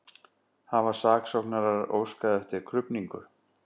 Hafa saksóknarar óskað eftir krufningu